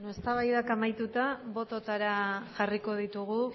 eztabaidak amaituta bototara jarriko ditugu